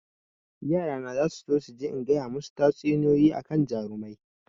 Yara na zasu so su ji in gaya masu tatsuniyoyi akan jarumai